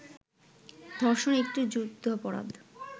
ধর্ষণ একটি যুদ্ধাপরাধ।